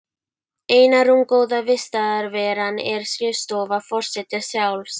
Eina rúmgóða vistarveran er skrifstofa forseta sjálfs.